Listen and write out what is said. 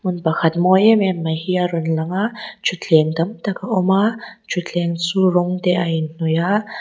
hmun pakhat mawi em em mai hi a rawn lang a thutthleng tam tak a awm a thutthleng chu rawng te a in hnawih a.